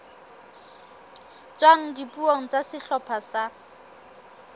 tswang dipuong tsa sehlopha sa